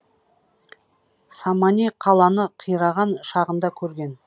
самани қаланы қираған шағында көрген